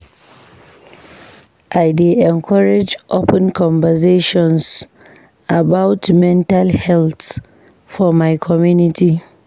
I dey encourage open conversations about mental health for my community.